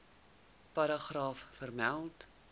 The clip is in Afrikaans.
paragraaf vermeld